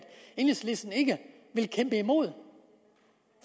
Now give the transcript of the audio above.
enhedslisten ikke vil kæmpe imod